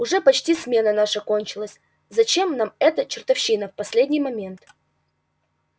уже почти смена наша кончилась зачем нам эта чертовщина в последний момент